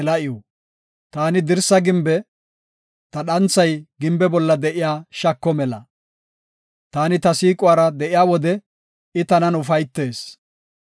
Taani dirsa gimbe; ta dhanthay gimbe bolla de7iya shako mela; taani ta siiquwara de7iya wode I tanan ufaytees.